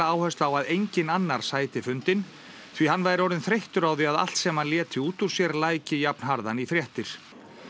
áherslu á að enginn annar sæti fundinn því hann væri orðinn þreyttur á því að allt sem hann léti út úr sér læki jafnharðan í fréttir